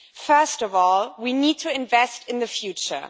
First of all, we need to invest in the future.